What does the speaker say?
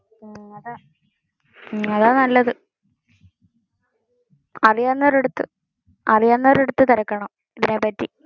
അതാ നല്ലതു. അറിയാവുന്നവരുടെ അടുത്ത് തിരക്കണം.